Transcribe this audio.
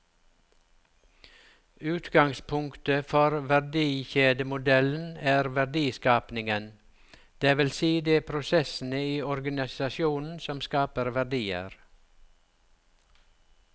Utgangspunktet for verdikjedemodellen er verdiskapingen, det vil si de prosessene i organisasjonen som skaper verdier.